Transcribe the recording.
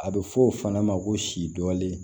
A bɛ fɔ o fana ma ko sidɔnlen